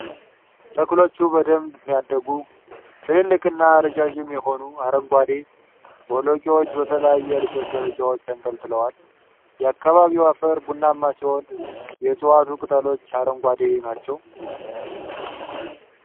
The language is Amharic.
ተክሎቹ በደንብ ያደጉ፣ ትላልቅና ረዣዥም የሆኑ አረንጓዴ ቦለቄዎች በተለያዩ የእድገት ደረጃዎች ተንጠልጥለዋል። የአካባቢው አፈር ቡናማ ሲሆን፣ የዕፅዋቱ ቅጠሎች አረንጓዴ ናቸው።